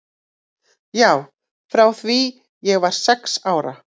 Já, frá því ég var sex ára.